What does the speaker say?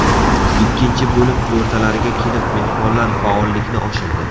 Ikkinchi bo‘lim o‘rtalariga kelib mehmonlar faollikni oshirdi.